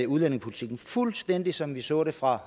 udlændingepolitikken fuldstændig som vi så det fra